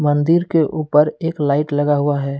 मंदिर के ऊपर एक लाइट लगा हुआ है।